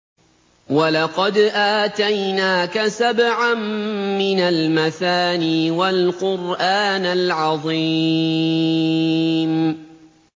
وَلَقَدْ آتَيْنَاكَ سَبْعًا مِّنَ الْمَثَانِي وَالْقُرْآنَ الْعَظِيمَ